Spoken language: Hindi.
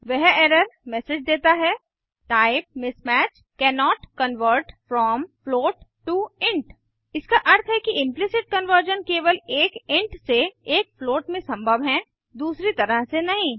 वह एरर मैसेज देता है type mismatch cannot convert from float to int इसका अर्थ है कि इम्प्लिसिट कन्वर्जन केवल एक इंट से एक फ्लोट में संभव है दूसरी तरह से नहीं